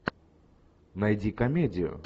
найди комедию